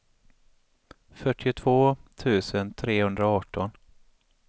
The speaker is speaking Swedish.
fyrtiotvå tusen trehundraarton